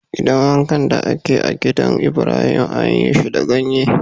Gidan wankan da ke a'gidan Ibrahim anyi shi da ganye.